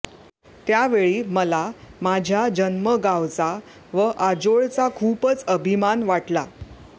त्यावेळी मला माझ्या जन्मगावचा व आजोळचा खूपच अभिमान वाटला